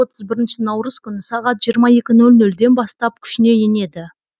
отыз бірінші наурыз күні сағат жиырма екі нөл нөлден бастап күшіне енеді